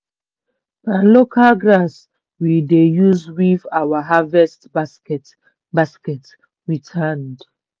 na local grass we dey use weave our harvest basket basket with hand.